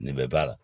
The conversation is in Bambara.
Nin bɛɛ b'a la